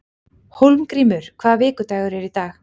Hólmgrímur, hvaða vikudagur er í dag?